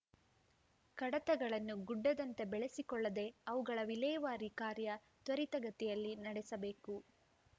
ಕಡತಗಳನ್ನು ಗುಡ್ಡದಂತೆ ಬೆಳೆಸಿಕೊಳ್ಳದೆ ಅವುಗಳ ವಿಲೇವಾರಿ ಕಾರ್ಯ ತ್ವರಿತಗತಿಯಲ್ಲಿ ನಡೆಸಬೇಕು